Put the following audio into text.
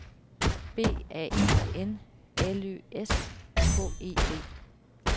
B A R N L Ø S H E D